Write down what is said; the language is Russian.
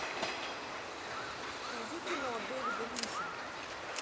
найди кино дэвида линча